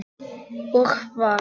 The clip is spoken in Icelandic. Og hvar.